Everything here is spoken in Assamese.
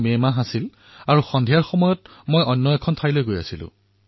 মে মাহ আছিল আৰু মই সন্ধিয়াৰ সময়ত ভ্ৰমণ কৰি কোনো এক স্থানলৈ গৈ আছিলো